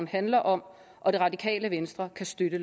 handler om og det radikale venstre kan støtte